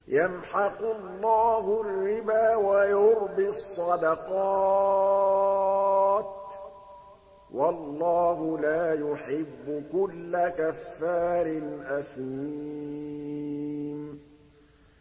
يَمْحَقُ اللَّهُ الرِّبَا وَيُرْبِي الصَّدَقَاتِ ۗ وَاللَّهُ لَا يُحِبُّ كُلَّ كَفَّارٍ أَثِيمٍ